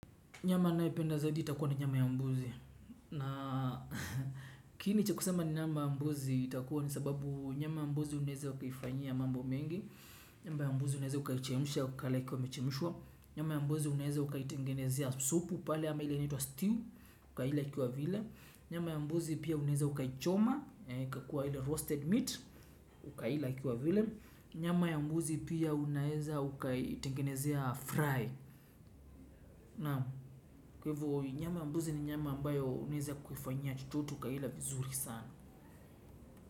Nyama nayependa zaidi itakuwa na nyama ya mbuzi. Na kiini cha kusema ni nyama ya mbuzi itakuwa ni sababu nyama ya mbuzi unaeza ukaifanyia mambo mengi. Nyamba ya mbuzi unaeze ukaichemsha wakalaikwa imechemshwa. Nyama ya mbuzi unaeza ukaitengenezea supu pale ama ile inaitwa stew ukaila ikiwa vile. Nyama ya mbuzi pia unaeza ukaichoma ikakua ile roasted meat ukaila ikiwa vile. Nyama ya mbuzi pia unaeza ukaitengenezea fry. Naam kwa ivo nyama mbuzi ni nyama ambayo unaeza kuifanya chochote ukaila vizuri sana.